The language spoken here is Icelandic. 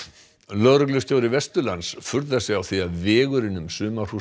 lögreglustjóri Vesturlands furðar sig á því að vegurinn um